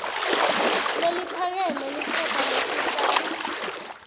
leliphakeme liphepha lesitsatfu